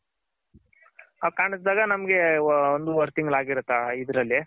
ಅವ್ ಕಾಣ್ಸ್ದಾಗ ನಮ್ಗೆ ಒಂದುವರ್ ತಿಂಗಳ್ ಆಗಿರುತ್ತ್ ಆ ಇದ್ರಲ್ಲಿ.